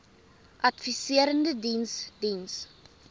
adviserende diens diens